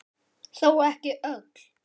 Þó ekki öll.